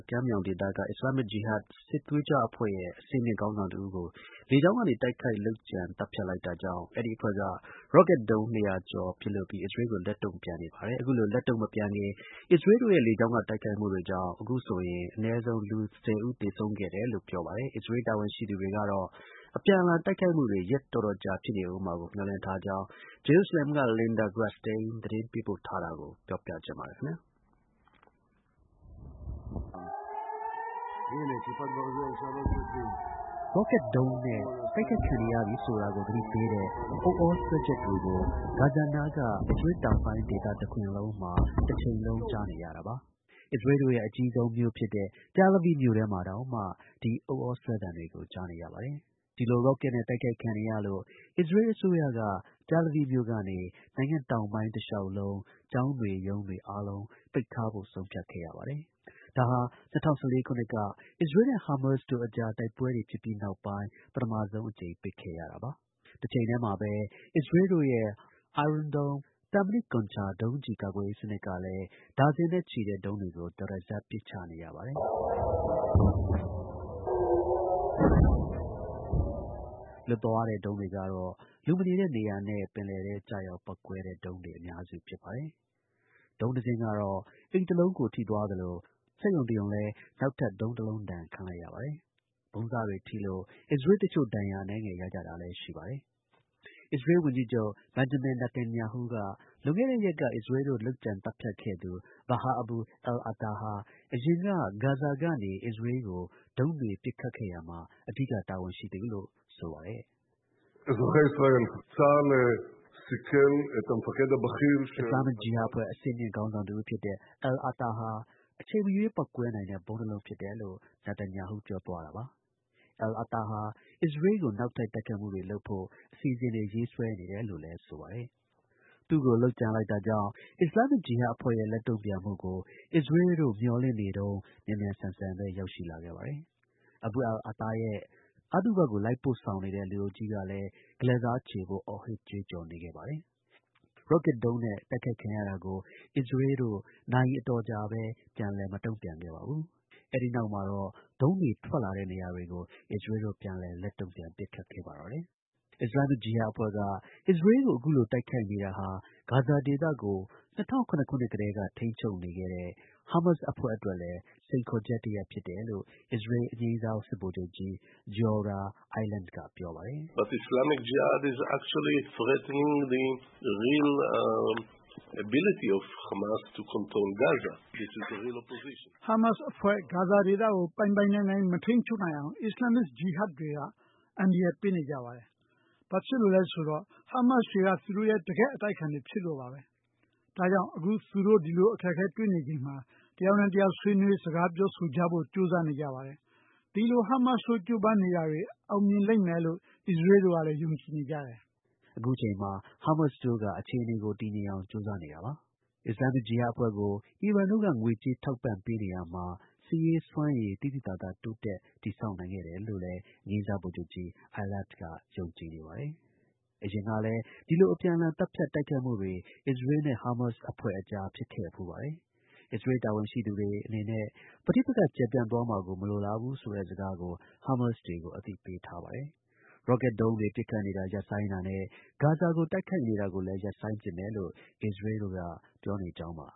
ကမ်းမြှောင်ဒေသက Islamic Jihad စစ်သွေးကြွအဖွဲ့ရဲ့ အဆင်မြင့် ခေါင်းဆောင်တစ်ဦးကို လေကြောင်းကနေ တိုက်ခိုက် လုပ်ကြံ သတ်ဖြတ် လိုက်တာကြောင့် အဲဒီ အဖွဲ့က ရော့ကက် ဒုံး ၁၅၀ ကျော် ပစ်လွှတ်ပြီး အစ္စရေးကို လက်တုံ့ ပြန်နေပါတယ်။ အခုလို လက်တုန့် မပြန်ခင် အစ္စးရေးတို့ရဲ့ လေကြောင်းက တိုက်ခိုက်မှုတွေကြောင့် အခုဆိုရင် အနည်းဆုံး လူ ၁၀ ဦး သေဆုံးခဲ့တယ်လို့ ပြောပါတယ်။ အစ္စရေးလ် တာဝန်ရှိသူ တွေကတော့ အပြန်အလှန် တိုက်ခိုက်မှုတွေ ရက်တော်တော်ကြာ ဖြစ်နေဦးမှာကို မျှော်လင့်ထားကြောင်း ဂျေရုဆလင်က Linda Gradstein သတင်းပေးပို့ထားတာကို ပြောပြချင်ပါတယ်။ ရော့ကက် ဒုံးနဲ့ တိုက်ခိုက်ခံနေရပြီဆိုတာကို သတိပေးတဲ့ဥသြဆွဲချက်တွေကို ဂါဇာနားက အစ္စးရေးလ်တောင်ပိုင်းဒေသ တစ်ခွင်လုံးတစ်ချိန်လုံး ကြားနေရတာပါ။ အစ္စရေးလ်တို့ရဲ့ အကြီးဆုံးမြို့ဖြစ်တဲ့ Tel Aviv မြို့ထဲမှာတောင်မှ ဒီ ဥသြဆွဲသံတွေကို ကြားနေရပါတယ်။ ဒီလို ရော့ကက်နဲ့ တိုက်ခိုက်ခံနေရလို့ အစ္စရေးလ် အစိုးရက Tel Aviv ကနေ နိုင်ငံ့တောင်ပိုင်း တစ်လျှောက် ကျောင်းတွေ ရုံးတွေ အားလုံးပိတ်ထားဖို့ ဆုံးဖြတ်ခဲ့ပါတယ်။ ဒါဟာ ၂၀၁၄ ခုနှစ်က အစ္စရေးလ်နဲ့ ဟားမားစ်တို့ အကြားတိုက်ပွဲတွေဖြစ်ပြီး နောက်ပိုင်း ပထမဆုံး အကြိမ် ပိတ်ရတာပါ။ တစ်ချိန်တည်းမှာပဲ အစ္စရေးလ်တို့ရဲ့ Iron Dome သံမဏိ လိပ်ခုံး ဒုံးကျည်ကာကွယ်ရေးစနစ်ကလည်း ဒါဇင်နဲ့ချီတဲ့ ဒုံးတွေကို တရစပ် ပစ်ချနေရပါတယ်။ လွတ်သွား တဲ့ ဒုံးတွေကတော့ လူမနေတဲ့ နေရာတွေနဲ့ ပင်လယ်ပြင်ထဲ ကျရောက်ပေါက်ကွဲတဲ့ ဒုံးတွေ အများစုဖြစ် ပါတယ်။ ဒုံးတစ်စင်းကတော့ အိမ်တစ်လုံးကို ထိသွားသလို စက်ရုံတစ်ရုံလည်း နောက်ထပ် ဒုံးတစ်လုံးဒဏ်ခံလိုက်ရပါတယ်။ ဗုံးစတွေထိလို့ အစ္စရေးလ်တစ်ချို့ ဒဏ်ရာအနည်းငယ်ရကြတာလည်း ရှိပါတယ်။ အစ္စရေးလ် ဝန်ကြီးချုပ် Benjamin Netanyahu က လွန်ခဲ့တဲ့ရက်က အစ္စရေးလ်တို့ လုပ်ကြံ သတ်ဖြတ်ခဲ့သူ Baha Abu al-Ata ဟာ အရင်က ဂါဇာကနေ အစ္စရေးလ်ကို ဒုံးတွေပစ်ခတ်ခဲ့ရာမှာ အဓိက တာဝန်ရှိသူလို့ ဆိုပါတယ်။ “Islamic Jihad အဖွဲ့ အဆင့်မြင့်ခေါင်းဆောင်တစ်ဦးဖြစ်တဲ့ al-Ata ဟာ အချိန်မရွေး ပေါက်ကွဲနို်င်တဲ့ ဗုံးတစ်လုံးဖြစ်တယ်”လို့ Netanyahu ပြောသွားတာပါ။ al-Ata ဟာ အစ္စရေးလ်ကို နောက်ထပ် တိုက်ခိုက်မှုတွေ လုပ်ဖို့ အစီအစဉ်တွေ ဆွဲနေတယ်လို့လည်း ဆိုပါတယ်။ သူ့ကို လုပ်ကြံလိုက်တာကြောင့် Islamic Jihad အဖွဲ့ရဲ့ လက်တုံ့ပြန်မှုကို အစ္စရေးတို့ မျှော်လင့်နေတုန်း မြန်မြန်ဆန်ဆန်ပဲ ရောက်လာခဲ့ ပါတယ်။ Abu al-Ata ရဲ့ အသုဘကို လိုက်ပို့ဆောင်တဲ့ လူအုပ်ကြီးကလည်း ဂလဲ့စားချေဖို့ အော်ဟစ် ကြွေးကြော်နေခဲ့ပါတယ်။ ရော့ကက် ဒုံးနဲ့ တိုက်ခိုက်ခံရတာကို အစ္စရေးတို့ နာရီ အတော်ကြာပဲ ပြန်လည် မတုံ့ပြန်ခဲ့ပါဘူး။ အဲဒီနောက်မှာတော့ ဒုံးတွေ ထွက်လာ တဲ့နေရာတွေကို အစ္စရေးလ်တို့ ပြန်လည် ပစ်ခတ်ခဲ့ပါတော့တယ်။ Islamic Jihad အဖွဲ့က အစ္စရေးလ်ကို အခုလို တိုက်ခိုက်နေတာဟာ ဂါဇာဒေသကို ၂၀၀၇ ခုနှစ်ကတည်း ထိန်းချုပ်နေတဲ့ ဟားမားစ်အဖွဲ့ အတွက်လည်း စိန်ခေါ်ချက်ဖြစ်တယ်လို့ အစ္စရေးလ် အငြိမ်းစား စစ်ဗိုလ်ချုပ်ကြီး Giora Eiland က ပြောပါတယ်။ “ဟားမာစ်အဖွဲ့ ဂါဇာဒေသကို ပိုင်ပိုင်နိုင်နိုင် မထိန်းချုပ်နိုင်အောင် Islamic Jihad တွေက အန္တရာယ်ပေးနေတယ်။ ဘာဖြစ်လို့လည်းဆိုတော့ ဟားမားစ်တွေက သူတို့ရဲ့ တကယ့် အတိုက်အခံတွေ ဖြစ်လို့ပဲ။ ဒါကြောင့် အခု သူတို့ ဒီလို အခက်အခဲ တွေ့နေချိန်မှာ တစ်ယောက်နဲ့ တစ်ယောက် ဆွေးနွေး စကားပြောဆိုကြဖို့ ကြိုးစားနေကြတယ်။ ဒီလို ဟားမားစ်တို့ ကြိုးပမ်းနေတာတွေ အောင်မြင်လိမ့်မယ်လို့ အစ္စရေးလ် တို့ကလည်း ယုံကြည်နေတယ်။” Islamic Jihad အဖွဲ့ကို အီရန်တို့က ငွေကြေး ထောက်ပံ့ပေးနေရာမှာ စစ်ရေး စွမ်းရည်ကို သိသိသာသာ တိုးတက် တည်ဆောက်နိုင်ခဲ့တယ်လို့ လည်း အငြိမ်းစား ဗိုလ်ချုပ်ကြီး Eilard က ယုံကြည်နေပါတယ်။ အရင်ကလည်း ဒီလို အပြန်အလှန် သတ်ဖြတ်တိုက်ခိုက်မှုတွေ အစ္စရေးနဲ့ ဟားမားစ်တို့ အကြား ဖြစ်ခဲ့ဖူးပါတယ်။ အစ္စရေး တာဝန်ရှိသူ တွေက သူတို့အနေနဲ့ ပဋိပက္ခ ကျယ်ပြန့်သွားမှာကို မလိုလားဘူးဆိုတဲ့ အမှာစကားကို ဟားမားစ်တွေကို အသိပေးထားပါတယ်။ ရော့ကက် ဒုံးတွေ ပစ်ခတ်နေတာ ရပ်ဆိုင်းတာနဲ့ ဂါဇာကို တိုက်ခိုက်နေတာကိုလည်း ရပ်ဆိုင်းမယ်လို့ အစ္စရေးတို့ ပြောနေကြောင်းပါ